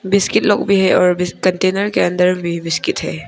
Biscuit लोग भी है और कंटेनर के अंदर भी बिस्किट है।